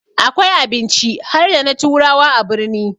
Akwai abinci harda na turawa a birni